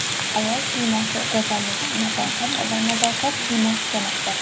Ayol siymosi go‘zallik, nafosat va nazokat siymosi demakdir.